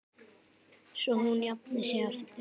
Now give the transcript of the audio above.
Svo hún jafni sig aftur.